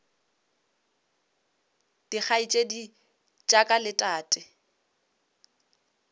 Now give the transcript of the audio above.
dikgaetšedi tša ka le tate